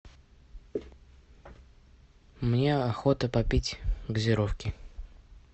мне охота попить газировки